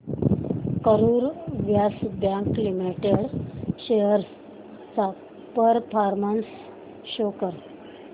Karur Vysya bank limited shares चा performance show कर